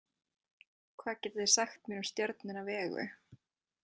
Hvað getið þið sagt mér um stjörnuna Vegu?